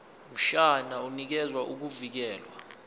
mshwana unikeza ukuvikelwa